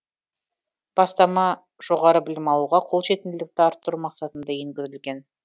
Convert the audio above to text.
бастама жоғары білім алуға қолжетімділікті арттыру мақсатында енгізілген